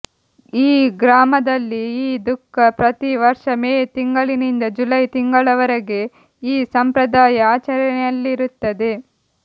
ಈ ಗ್ರಾಮದಲ್ಲಿ ಈ ದುಃಖ ಪ್ರತಿ ವರ್ಷ ಮೇ ತಿಂಗಳಿಂದ ಜುಲೈ ತಿಂಗಳವರೆಗೆ ಈ ಸಂಪ್ರದಾಯ ಆಚರಣೆಯಲ್ಲಿರುತ್ತದೆ